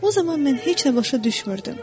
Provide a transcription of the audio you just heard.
O zaman mən heç nə başa düşmürdüm.